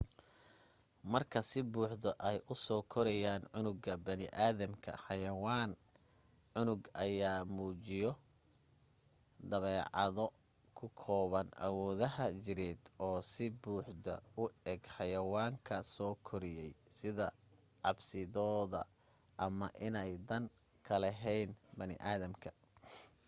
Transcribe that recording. marka si buuxdo ay usoo koriyaan cunuga baniiaadamka xayawaan cunuga ayaa muujiyo dabeecado ku kooban awoodaha jireed oo si buuxdo u eg xayawaanka soo koriyay sida cabsidooda ama inay dan ka lahayn baniaadamka